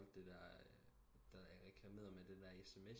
Solgte der det der reklameret med det der SMS